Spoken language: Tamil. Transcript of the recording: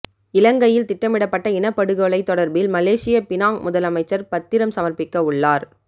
இலங்கையில் திட்டமிடப்பட்ட இனப்படுகொலை தொடர்பில் மலேசிய பினாங் முதலமைச்சர் பத்திரம் சமர்ப்பிக்கவுள்ளார்